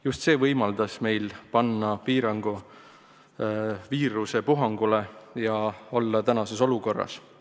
Just see võimaldas meil panna piir viiruspuhangule ja jõuda tänasesse olukorda.